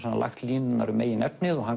lagt línurnar um megin efnið og hann